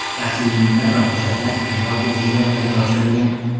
Shaxsiy buyumlar va hujjatlar keyinroq o‘z egalariga topshirilgan.